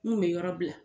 N kun bɛ yɔrɔ bila